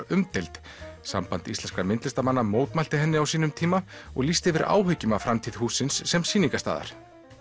umdeild samband íslenskra myndlistarmanna mótmælti henni á sínum tíma og lýsti yfir áhyggjum af framtíð sem sýningarstað